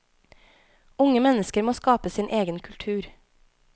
Unge mennesker må skape sin egen kultur.